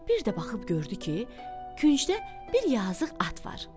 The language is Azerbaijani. Bir də baxıb gördü ki, küncdə bir yazıq at var.